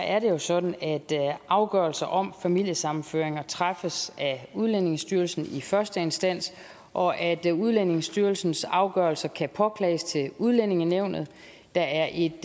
er det jo sådan at afgørelser om familiesammenføringer træffes af udlændingestyrelsen i første instans og at at udlændingestyrelsens afgørelser kan påklages til udlændingenævnet der er et